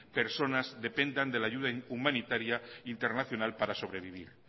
personas dependan de la ayuda humanitaria internacional para sobrevivir